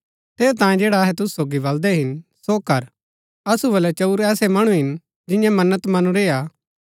ठेरैतांये जैडा अहै तुसु सोगी बलदै हिन सो कर असु बलै चंऊर ऐसै मणु हिन जिन्यैं मन्नत मनुरी हा